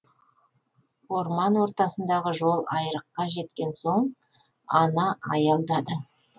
орман ортасындағы жол айрыққа жеткен соң ана аялдады